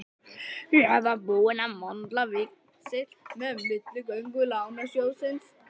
Ég var búinn að möndla víxil með milligöngu Lánasjóðsins.